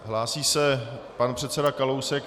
Hlásí se pan předseda Kalousek.